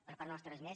per part nostra res més